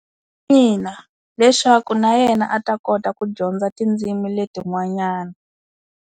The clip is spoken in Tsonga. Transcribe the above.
Ina leswaku na yena a ta kota ku dyondza tindzimi leti n'wanyana.